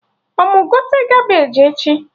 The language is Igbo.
Ọ mụ gote Kabeji echi?